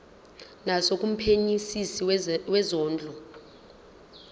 naso kumphenyisisi wezondlo